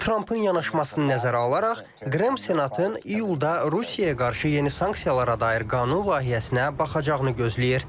Trampın yanaşmasını nəzərə alaraq Qrem senatın iyulda Rusiyaya qarşı yeni sanksiyalara dair qanun layihəsinə baxacaqını gözləyir.